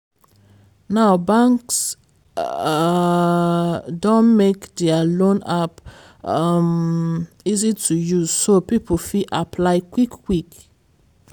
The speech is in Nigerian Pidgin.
now banks um don make dia loan app um easy to use so people fit apply quick-quick.